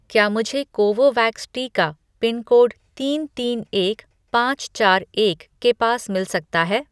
क्या मुझे कोवोवैक्स टीका पिनकोड तीन तीन एक पाँच चार एक के पास मिल सकता है